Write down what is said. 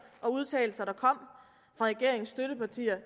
og udtalelser der kom fra regeringens støttepartier